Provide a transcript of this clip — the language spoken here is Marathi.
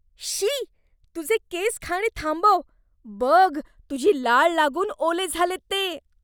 शी! तुझे केस खाणे थांबव. बघ, तुझी लाळ लागून ओले झालेत ते.